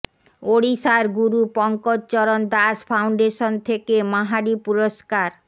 ওড়িশার গুরু পঙ্কজ চরণ দাস ফাউন্ডেশন থেকে মাহারি পুরস্কার